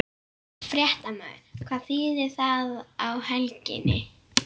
Fréttamaður: Hvað þýðir það á helginni?